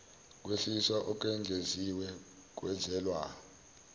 kwehliswa okwengeziwe kwenzelwa